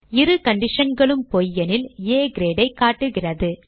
இரு conditionகளும் பொய் எனில் ஆ Grade ஐ காட்டுகிறது